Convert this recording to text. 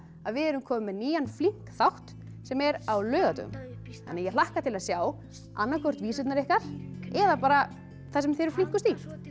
að við erum komin með nýjan flink þátt sem er á laugardögum ég hlakka til að sjá annaðhvort vísurnar ykkar eða bara það sem þið eruð flinkust í